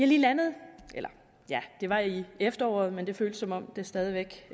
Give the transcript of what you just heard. lige landet ja det var i efteråret men det føles som om det stadig væk